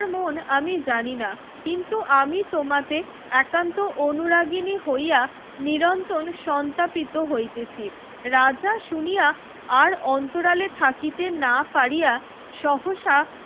মন আমি জানি না কিন্তু আমি তোমাতে একান্তে অনুরাগিণী হইয়া নিরন্তর সন্তাপিত হইতেছি রাজা শুনিয়া আর অন্তরালে থাকতে না পারিয়া সহসা